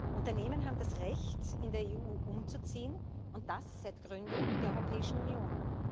Unternehmen haben das Recht, in der EU umzuziehen und das seit Gründung der Europäischen Union.